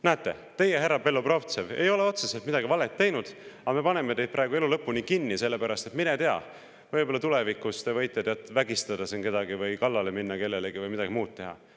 Näete, teie, härra Belobrovtsev, ei ole otseselt midagi valesti teinud, aga me paneme teid elu lõpuni kinni, sest mine tea, võib-olla te võite tulevikus siin kedagi vägistada või kellelegi kallale minna või midagi muud teha.